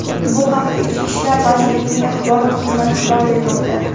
Bu haqda Ichki ishlar vazirligining axborot xizmati xabar bermoqda .